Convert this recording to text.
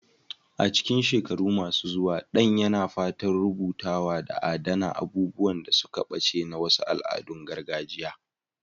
A cikin shekaru masu zuwa, Dan yana fatan rubutawa da adana abubuwan da suka ɓace na wasu al'adun gargajiya.